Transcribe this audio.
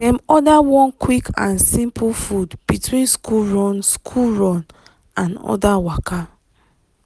dem order one quick and simple food between school run school run and other waka.